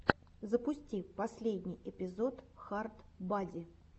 запусти последний эпизод хард бади